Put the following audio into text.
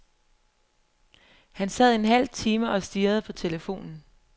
Han sad en halv time og stirrede på telefonen.